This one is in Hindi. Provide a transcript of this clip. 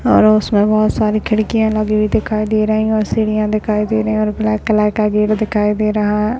और उसमें बहोत सारी खिड़कियां लगी हुई दिखाई दे रही हैं और सीढ़ियां दिखाई दे रही हैं और ब्लैक कलर का गेट दिखाई दे रहा है।